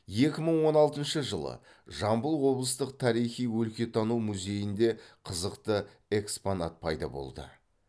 екі мың он алтыншы жылы жамбыл облыстық тарихи өлкетану музейінде қызықты экспонат пайда болды